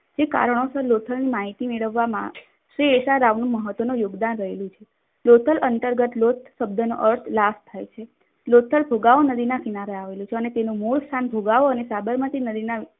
કારણોસર લોથલની માહિતી મેળવવા માં શ્રી એશારાવેનું મહત્વનું યોગદાન રહ્યું હતું. લોથલ અંતર્ગત લોથ શબ્દનો અર્થ લાઠ થાય છે. લોથલ ફુગાવો નદીના કિનારે આવેલું છે. અને તેનું મૂળ સ્થાન ફુગાવો અને સાબરમતીના નદીના